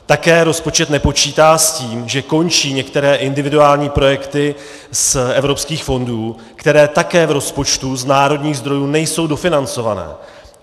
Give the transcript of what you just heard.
Také rozpočet nepočítá s tím, že končí některé individuální projekty z evropských fondů, které také v rozpočtu z národních zdrojů nejsou dofinancované.